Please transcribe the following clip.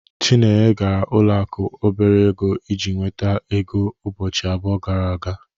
Chinenye gara ụlọ akụ obere ego iji nweta ego ụbọchị abụọ gara aga.